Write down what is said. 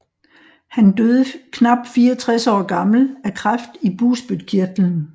Han døde knap 64 år gammel af kræft i bugspytkirtlen